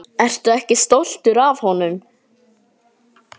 Ertu ekki stoltur af honum?